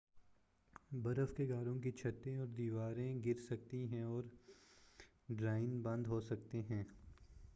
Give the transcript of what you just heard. برف کے غاروں کی چھتیں اور دیواریں گرسکتی ہیں اور دراڑیں بند ہو سکتی ہیں